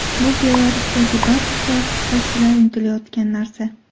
Bu Belarusdagi ba’zi siyosatchilar intilayotgan narsa.